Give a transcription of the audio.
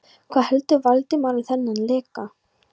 Hvað heldur Valdimar um þennan leka?